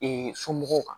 somɔgɔw kan